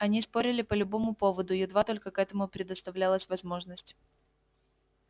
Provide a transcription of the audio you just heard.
они спорили по любому поводу едва только к этому предоставлялась возможность